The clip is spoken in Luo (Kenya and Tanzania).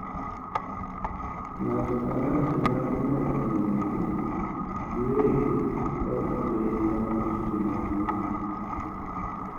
ng’ato ka ng’ato nyalo medo ng’eyogi giwegi kod piny ma ochung’negi.